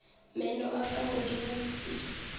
meno a ka godimo pele